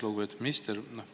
Lugupeetud minister!